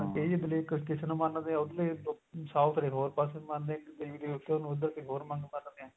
ਇਹ ਏਰੀਏ ਦੇ ਲੋਕ ਕਿਸੇ ਨੂੰ ਮੰਨਦੇ ਏ ਉਰਲੇ south ਵਾਲੇ ਹੋਰ ਪਾਸੇ ਮੰਨਦੇ ਏ ਉੱਧਰ ਨੂੰ ਕੋਈ ਹੋਰ ਮੰਨਦੇ ਆ